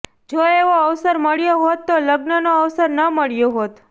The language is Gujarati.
જો એવો અવસર મળ્યો હોત તો લગ્નનો અવસર ન મળ્યો હોત